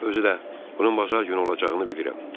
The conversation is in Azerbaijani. Özü də, bunun bazar günü olacağını bilirəm.